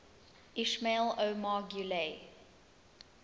ismail omar guelleh